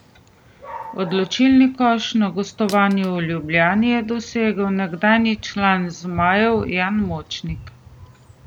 Odločilni koš na gostovanju v Ljubljani je dosegel nekdanji član zmajev Jan Močnik.